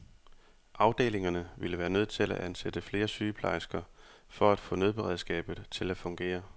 Afdelingerne ville være nødt til at ansætte flere sygeplejersker for at få nødberedskabet til at fungere.